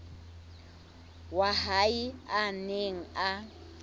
wa hae a neng a